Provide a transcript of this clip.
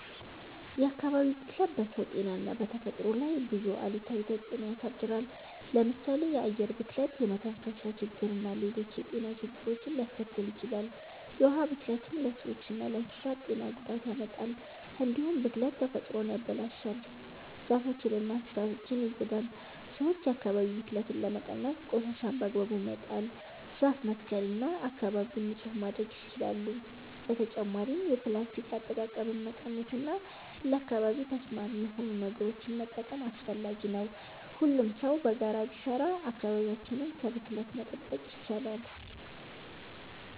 የአካባቢ ብክለት በሰው ጤና እና በተፈጥሮ ላይ ብዙ አሉታዊ ተጽዕኖ ያሳድራል። ለምሳሌ የአየር ብክለት የመተንፈሻ ችግርና ሌሎች የጤና ችግሮችን ሊያስከትል ይችላል። የውሃ ብክለትም ለሰዎችና ለእንስሳት ጤና ጉዳት ያመጣል። እንዲሁም ብክለት ተፈጥሮን ያበላሻል፣ ዛፎችንና እንስሳትን ይጎዳል። ሰዎች የአካባቢ ብክለትን ለመቀነስ ቆሻሻን በአግባቡ መጣል፣ ዛፍ መትከል እና አካባቢን ንጹህ ማድረግ ይችላሉ። በተጨማሪም የፕላስቲክ አጠቃቀምን መቀነስ እና ለአካባቢ ተስማሚ የሆኑ ነገሮችን መጠቀም አስፈላጊ ነው። ሁሉም ሰው በጋራ ቢሰራ አካባቢያችንን ከብክለት መጠበቅ ይቻላል።